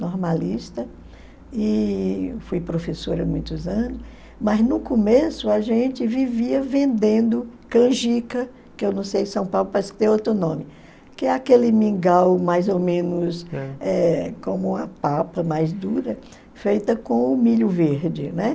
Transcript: normalista, e fui professora há muitos anos, mas no começo a gente vivia vendendo canjica, que eu não sei se São Paulo parece que tem outro nome, que é aquele mingau mais ou menos eu como a papa, mais dura, feita com o milho verde, né?